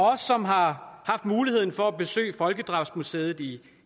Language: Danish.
os som har haft muligheden for at besøge folkedrabsmuseet i